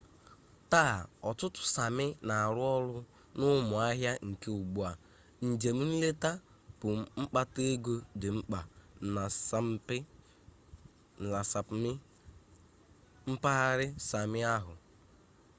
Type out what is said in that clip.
taa ọtụtụ sami na-arụ ọrụ n'ụmụ ahịa nke ugbu a njem nleta bụ mkpata egọ dị mkpa na sapmi mpaghara sami ahụ